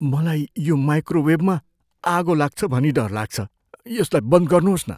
मलाई यो माइक्रोवेवमा आगो लाग्छ भनी डर लाग्छ। यसलाई बन्द गर्नुहोस् न।